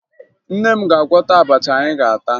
Nne m ga-agwọta abacha anyị ga-ata